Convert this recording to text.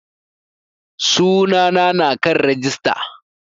Sunana na kan rijista